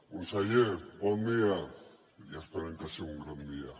conseller bon dia i esperem que sigui un gran dia